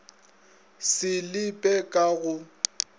se le pe ka go